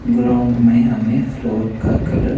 ground में हमें floor का कलर --